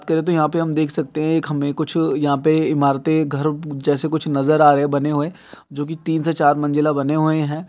यहाँ पे हम देख सकते है हमें कुछ यहाँ पे इमारते घर जैसा कुछ नजर आ रहे है बने हुए जो की तीन से चार मंजिला बने हुए है।